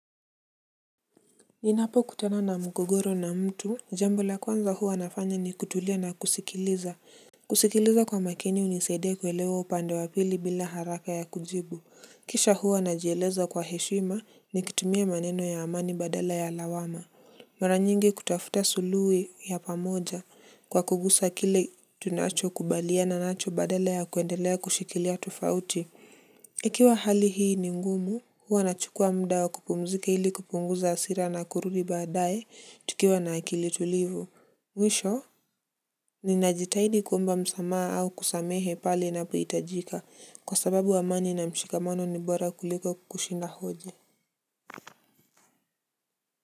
Ninapokutanana mgogoro na mtu jambo la kwanza huwa anafanya ni kutulia na kusikiliza. Kusikiliza kwa makini unisaidia kuelewa upande wa pili bila haraka ya kujibu. Kisha huwa najieleza kwa heshima nikitumia maneno ya amani badala ya lawama. Mwara nyingi kutafuta suluhu ya pamoja kwa kugusa kile tunachokubaliana nacho badala ya kuendelea kushikilia tufauti ikiwa hali hii ni ngumu huwa nachukua mda wa kupumzika hili kupunguza asira na kurudi badaye tukiwa na akili tulivu. Mwisho, ninajitahidi kuomba msamaa au kusamehe pale napoitajika kwa sababu amani na mshikamano ni bora kuliko kushinda hoje.